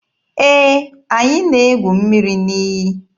Ee, anyị na-egwu mmiri n'iyi.